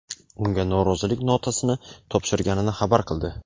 unga norozilik notasini topshirganini xabar qildi.